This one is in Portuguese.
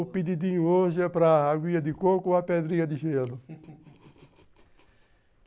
O pedidinho hoje é para agulha de coco ou a pedrinha de gelo